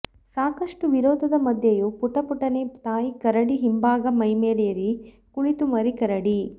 ಸಾಕಷ್ಟು ವಿರೋಧದ ಮಧ್ಯೆಯೂ ಪುಟ ಪುಟನೆ ತಾಯಿ ಕರಡಿ ಹಿಂಭಾಗ ಮೈಮೇಲೇರಿ ಕುಳಿತ ಮರಿ ಕರಡಿ